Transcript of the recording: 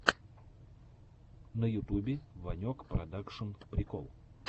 на ютубе ванек продакшн прикол